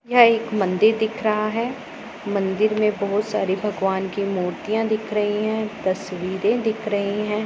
यह एक मंदिर दिख रहा है मंदिर में बहुत सारी भगवान की मूर्तियां दिख रही है तस्वीरें दिख रही है।